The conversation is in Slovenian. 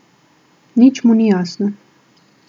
Nič mu ni jasno.